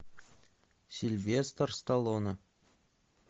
сильвестр сталлоне